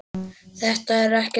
Þetta er ekkert til að.